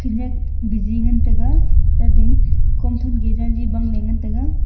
khenyak biji ngan taga tate kom than keh ye jaji bang ley ngantaga.